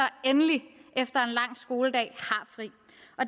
endelig efter en lang skoledag